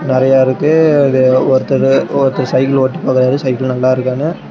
நெறையா இருக்கு அங்க ஒருத்தரு ஒருத்தர் சைக்கிள் ஓட்டி பாக்குறாரு சைக்கிள் நல்லாருக்கான்னு.